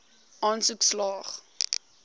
aansoek slaag